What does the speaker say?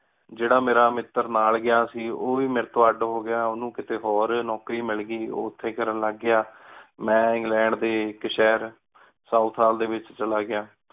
ਜੇਰਾ ਮੇਰਾ ਮਿੱਤਰ ਨਾਲ ਗਯਾ ਸੀ ਓਹ ਵ ਮੇਰੀ ਤੋ ਅੱਡ ਹੋ ਗਯਾ ਓਹਨੁ ਕੀਤੀ ਹੋਰ ਨੋਕਰੀ ਮਿਲ ਗਈ ਓਹ ਓਥੀ ਕਰਨ ਲਾਗ ਗਯਾ ਮੇਨ ਇੰਗਲੈਂ ਡੀ ਇਕ ਸ਼ੇਹਰ ਸੋਉਥ ਹਾਲ ਡੀ ਵਿਚ ਚਲਾ ਗਯਾ